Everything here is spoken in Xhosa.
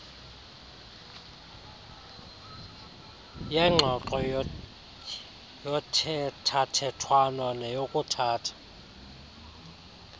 yengxoxo yothethathethwano neyokuthatha